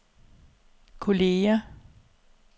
kolleger